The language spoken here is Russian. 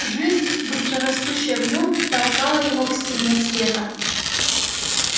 жизнь быстро растущая в нём толкала его к стене света